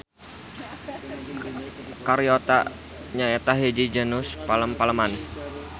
Caryota nyaeta hiji genus palem-paleman.